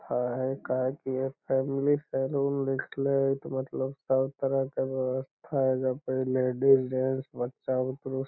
है है काहे की इ फैमिली सैलून लिखले हेय तो मतलब सब तरह के व्यवस्था एजा पर लेडीज जेंट्स बच्चा बूतरु --